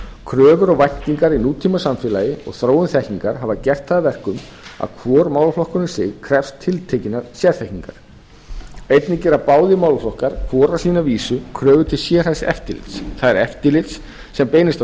kröfur og væntingar í nútímasamfélagi og þróun þekkingar hafa gert það að verkum að hvor málaflokkur um sig krefst tiltekinnar sérþekkingar einnig gera báðir málaflokkar hvor á sína vísu kröfu til sérhæfðs eftirlits það er eftirlits sem beinist að